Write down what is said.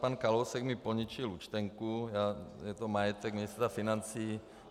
Pan Kalousek mi poničil účtenku, je to majetek ministra financí.